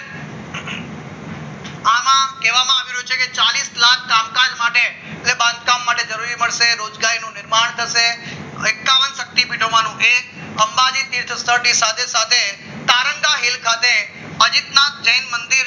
ના કહેવા માં આવ્યું છે કે ચાલીસ લાખ કામકાજ માટે એટલે કે બાંધકામ માટે નોકરી માટે રોજગારી મળશે તેનું નિર્માણ થશે એકતા વન શક્તિપીઠ અંબાજી તીર્થ સ્થળ સાથે સાથે તારંગા હિલ ખાતે